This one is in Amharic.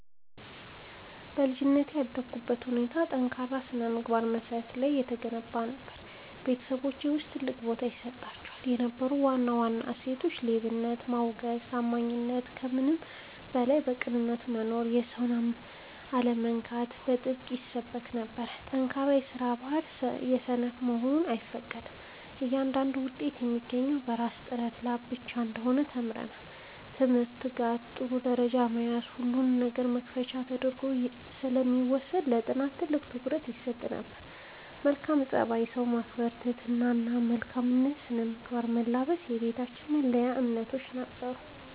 በልጅነቴ ያደግኩበት ሁኔታ በጠንካራ የሥነ-ምግባር መሠረት ላይ የተገነባ ነበር። በቤተሰባችን ውስጥ ትልቅ ቦታ ይሰጣቸው የነበሩ ዋና ዋና እሴቶች፦ ሌብነትን ማውገዝና ታማኝነት፦ ከምንም በላይ በቅንነት መኖርና የሰውን አለመንካት በጥብቅ ይሰበክ ነበር። ጠንካራ የስራ ባህል፦ ሰነፍ መሆን አይፈቀድም፤ እያንዳንዱ ውጤት የሚገኘው በራስ ጥረትና ላብ ብቻ እንደሆነ ተምረናል። የትምህርት ትጋት፦ በትምህርት ጥሩ ደረጃ መያዝ የሁሉም ነገር መክፈቻ ተደርጎ ስለሚወሰድ ለጥናት ትልቅ ትኩረት ይሰጥ ነበር። መልካም ፀባይ፦ ሰውን ማክበር፣ ትህትና እና መልካም ስነ-ምግባርን መላበስ የቤታችን መለያ እምነቶች ነበሩ።